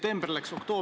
Tänan küsimuse eest!